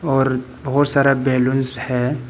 और बहुत सारा बलूंस है।